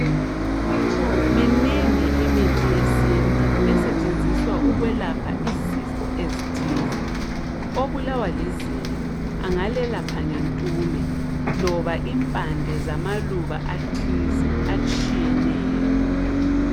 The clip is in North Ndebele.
Minengi imithi yesintu esetshenziswa ukwelapha izifo ezithize. Obulawa lizinyo angalelapha ngentume loba impande zamaluba athize atshiyeneyo.